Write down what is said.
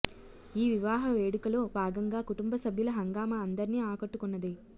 ఈ వివాహ వేడుకలో భాగంగా కుటుంబ సభ్యుల హంగామా అందర్నీ ఆకట్టుకొన్నది